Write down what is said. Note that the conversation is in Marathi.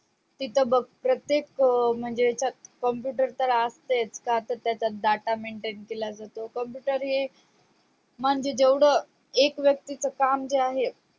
तिथं बग प्रत्येक म्हणजे computer तर असतेत तर आता त्याचा data maintain केला जातो computer हे म्हणजे जेवढ एक वक्ती च काम जेवढं आहे त्या